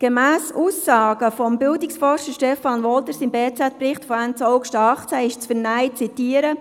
Gemäss Aussagen des Bildungsforschers Stefan Wolter im Bericht der «BZ» von Ende 2018 ist zu lesen, ich zitiere: